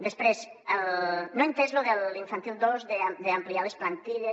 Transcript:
després no he entès lo de l’infantil dos d’ampliar les plantilles